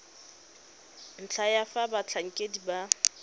ntlha ya fa batlhankedi ba